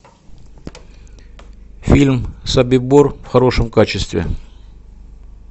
фильм собибор в хорошем качестве